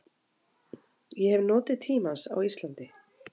Ég hef notið tímans á Íslandi.